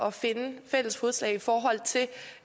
at finde fælles fodslag i forhold til